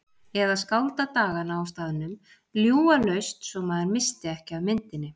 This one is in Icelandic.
Eða skálda dagana á staðnum, ljúga laust svo maður missti ekki af myndinni.